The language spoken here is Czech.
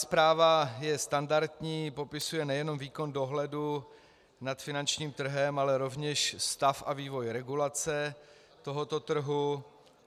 Zpráva je standardní, popisuje nejen výkon dohledu nad finančním trhem, ale rovněž stav a vývoj regulace tohoto trhu.